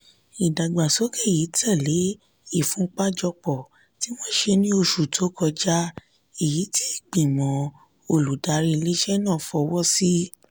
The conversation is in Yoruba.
ìdàgbàsókè yìí tẹ̀lé ìfúnpájọpọ̀ tí wọ́n ṣe ní oṣù tó kọjá èyí tí ìgbìmọ̀ olùdarí ilé-iṣẹ́ náà fọwọ́ sí.